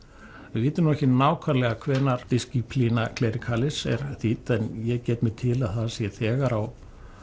við vitum ekki nákvæmlega hvenær Disciplina Clericalis er þýdd en ég get mér til að það sé þegar á